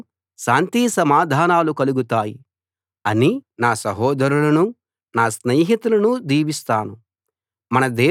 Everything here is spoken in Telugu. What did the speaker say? మీకు శాంతి సమాధానాలు కలుగుతాయి అని నా సహోదరులను నా స్నేహితులను దీవిస్తాను